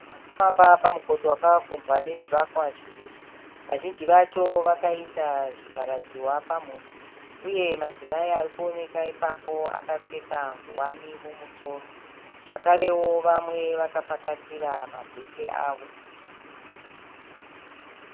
Vanhu varikufamba pamukoto wakakombwa nezvivakwa zviviri. Vazhinji vacho vakaisa zvivhara dziwa pamhuno. Uye madzimai arikuoneka ipapo akapfeka nguwani mumusoro. Zvekarewo vamwe vakapakatira mabheke avo.